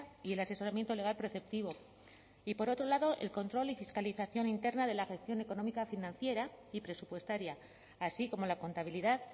y el asesoramiento legal preceptivo y por otro lado el control y fiscalización interna de la gestión económica financiera y presupuestaria así como la contabilidad